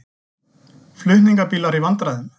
Flutningabílar í vandræðum